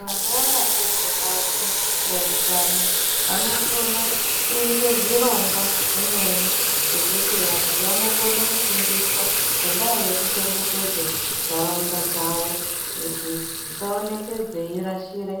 Vanoona ngezvebazi rezveutano vanokona na kuita zvirongwa zvimweni zvekuti vanhu vanokona kufundiswa ngendaa yekuchengetedza nharaunda dzavo kuti dzisaonekwa dzeirashira